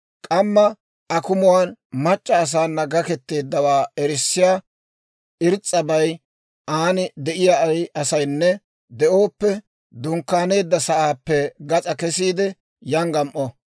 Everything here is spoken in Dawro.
K'amma akumuwaan mac'c'a asaana gaketeeddawaa erissiyaa irs's'abay aan de'iyaa ay asaynne de'ooppe, dunkkaaneedda sa'aappe gas'aa kesiide yan gam"o.